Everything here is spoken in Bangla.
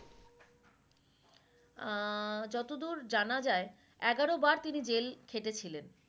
আহ যতদূর জানা যায় এগারো বার তিনি জেল খেটেছিলেন